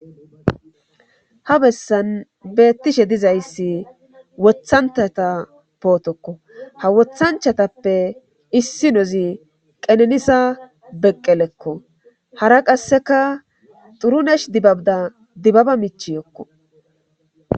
ha bessan beettishe dizayssi wothancthata pootokko ha wothanchatappe issinozi qenenisa beqqelekko hara qasseka xurunesh dibabda dibbaba michiyokko